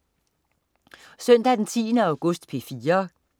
Søndag den 10. august - P4: